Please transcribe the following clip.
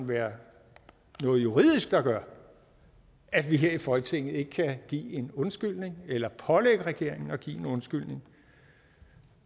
være noget juridisk der gør at vi her i folketinget ikke kan give en undskyldning eller pålægge regeringen at give en undskyldning